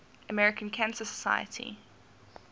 american cancer society